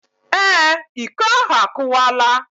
Ee, Iko ahu akuwala